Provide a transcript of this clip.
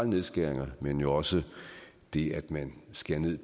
nedskæringer men jo også det at man skærer ned